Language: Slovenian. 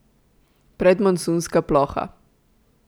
Predmonsunska ploha?